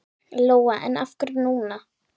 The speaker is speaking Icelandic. Lóa: En af hverju núna?